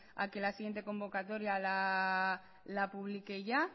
a que la siguiente convocatoria la publique ya